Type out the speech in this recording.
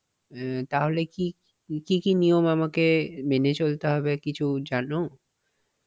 অ্যাঁ তাহলে কি কি কি নিয়ম মেনে আমাকে চলতে হবে কিছু জানো?